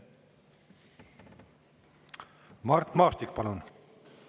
Mart Maastik, palun!